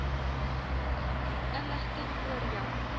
inligting oor jou